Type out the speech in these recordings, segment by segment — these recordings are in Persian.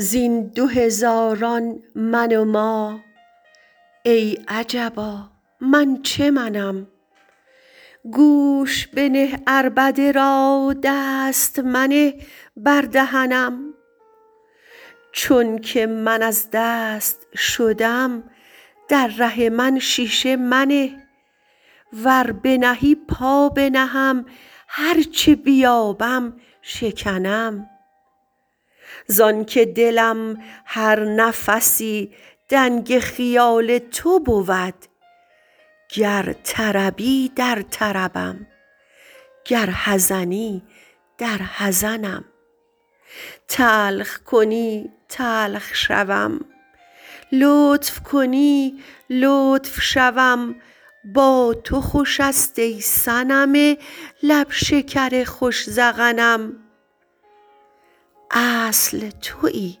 زین دو هزاران من و ما ای عجبا من چه منم گوش بنه عربده را دست منه بر دهنم چونک من از دست شدم در ره من شیشه منه ور بنهی پا بنهم هر چه بیابم شکنم زانک دلم هر نفسی دنگ خیال تو بود گر طربی در طربم گر حزنی در حزنم تلخ کنی تلخ شوم لطف کنی لطف شوم با تو خوش است ای صنم لب شکر خوش ذقنم اصل توی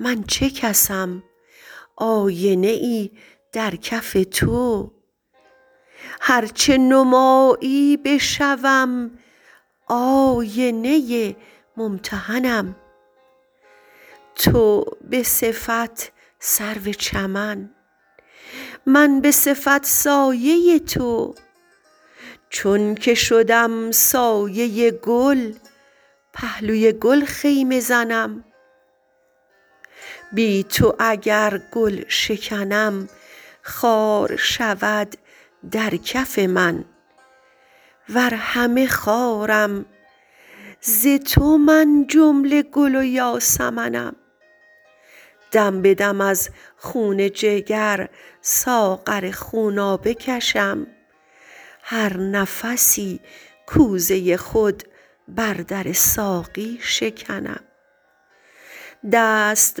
من چه کسم آینه ای در کف تو هر چه نمایی بشوم آینه ممتحنم تو به صفت سرو چمن من به صفت سایه تو چونک شدم سایه گل پهلوی گل خیمه زنم بی تو اگر گل شکنم خار شود در کف من ور همه خارم ز تو من جمله گل و یاسمنم دم به دم از خون جگر ساغر خونابه کشم هر نفسی کوزه خود بر در ساقی شکنم دست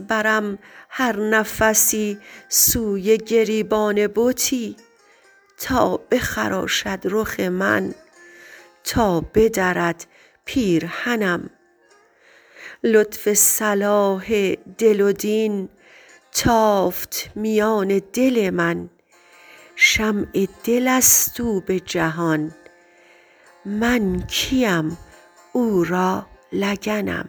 برم هر نفسی سوی گریبان بتی تا بخراشد رخ من تا بدرد پیرهنم لطف صلاح دل و دین تافت میان دل من شمع دل است او به جهان من کیم او را لگنم